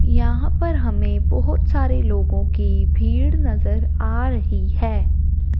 यहां पर हमें बहुत सारे लोगों की भीड़ नजर आ रही है।